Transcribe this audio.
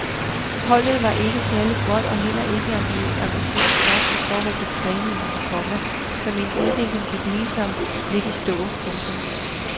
Holdet var ikke særlig godt og heller ikke ambitiøst nok i forhold til træningen, komma så min udvikling gik ligesom lidt i stå. punktum